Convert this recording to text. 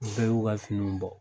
U bɛɛ y'u ka finiw bɔ.